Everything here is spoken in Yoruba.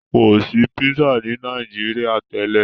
kọ sí pizza ní Nàìjíríà tèlé